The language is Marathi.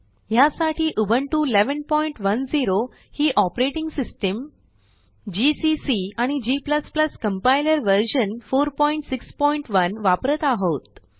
ह्यासाठी उबुंटू 1110 ही ऑपरेटिंग सिस्टम जीसीसी आणि g कंपाइलर व्हर्शन 461 वापरत आहोत